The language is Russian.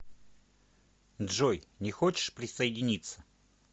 джой не хочешь присоединиться